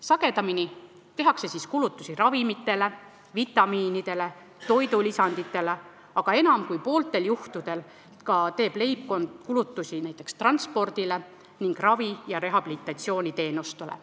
Sagedamini tehakse kulutusi ravimitele, vitamiinidele, toidulisanditele, aga enam kui pooltel juhtudel teeb leibkond kulutusi ka näiteks transpordile ning ravi- ja rehabilitatsiooniteenustele.